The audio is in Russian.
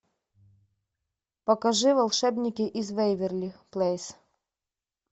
покажи волшебники из веверли плейз